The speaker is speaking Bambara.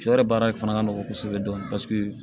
Shɔ yɛrɛ baara in fana ka nɔgɔn kosɛbɛ dɔɔnin paseke